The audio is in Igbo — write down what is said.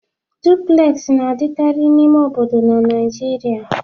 Dupulesị na-adịkarị n'ime obodo na Naịjirịa.